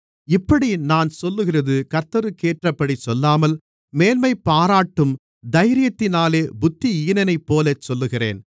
இப்படி நான் சொல்லுகிறது கர்த்தருக்கேற்றபடி சொல்லாமல் மேன்மைபாராட்டும் தைரியத்தினாலே புத்தியீனனைப்போலச் சொல்லுகிறேன்